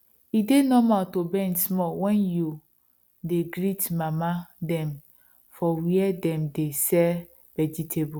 e dey normal to bend small when you dey greet mama dem for where dem dey sell vegetable